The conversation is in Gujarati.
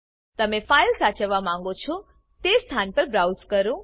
તમે ફાઇલ સાચવવા માંગો છો તે સ્થાન બ્રાઉઝ કરો